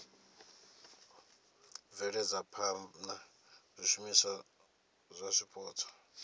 bveledza phana zwishumiswa zwa zwipotso